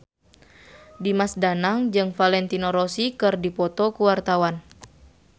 Dimas Danang jeung Valentino Rossi keur dipoto ku wartawan